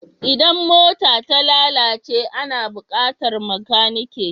Idan mota ta lalace ana buƙatar makanike.